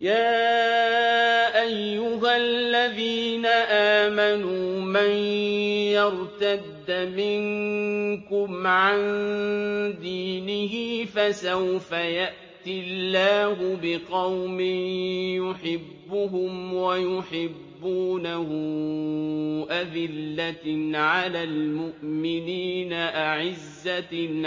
يَا أَيُّهَا الَّذِينَ آمَنُوا مَن يَرْتَدَّ مِنكُمْ عَن دِينِهِ فَسَوْفَ يَأْتِي اللَّهُ بِقَوْمٍ يُحِبُّهُمْ وَيُحِبُّونَهُ أَذِلَّةٍ عَلَى الْمُؤْمِنِينَ أَعِزَّةٍ